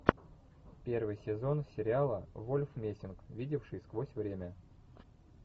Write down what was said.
первый сезон сериала вольф мессинг видевший сквозь время